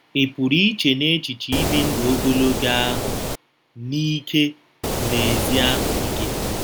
Ị pụrụ iche n’echiche ibi ndụ ogologo oge ahụ n’ike na ezi ahụ ike?